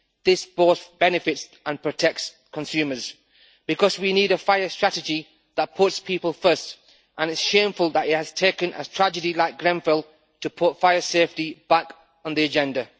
This both benefits and protects consumers because we need a fire strategy that puts people first and it is shameful that it has taken a tragedy like Grenfell to put fire safety back on the agenda.